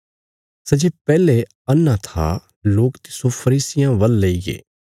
सै जे पैहले अन्हा था लोक तिस्सो फरीसियां वल लेईगे